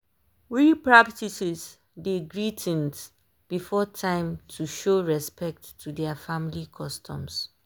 we practices dey greetings before time to show respect to their family customs.